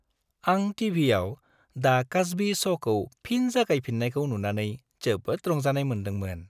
आं टि.भि.आव "दा कस्बी श'"खौ फिन जागायफिननायखौ नुनानै जोबोद रंजानाय मोन्दोंमोन।